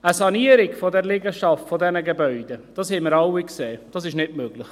Eine Sanierung dieser Liegenschaft, dieser Gebäude ist nicht möglich, das haben wir alle gesehen.